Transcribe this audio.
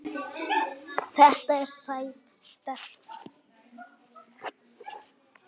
Þetta er sæt stelpa.